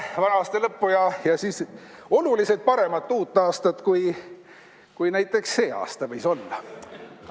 Head vana aasta lõppu ja siis oluliselt paremat uut aastat, kui näiteks see aasta võis olla!